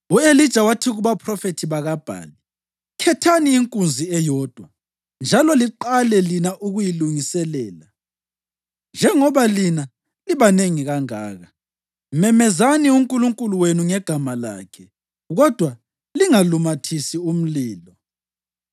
U-Elija wathi kubaphrofethi bakaBhali, “Khethani inkunzi eyodwa njalo liqale lina ukuyilungiselela, njengoba lina libanengi kangaka. Memezani unkulunkulu wenu ngegama lakhe, kodwa lingalumathisi umlilo.”